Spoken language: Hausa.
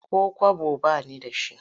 Ko kwabo ba ni da shi.